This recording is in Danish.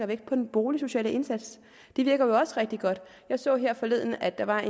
vægt på den boligsociale indsats den virker jo også rigtig godt jeg så her forleden at der var